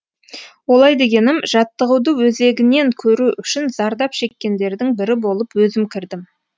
олай дегенім жаттығуды өзегінен көру үшін зардап шеккендердің бірі болып өзім кірдім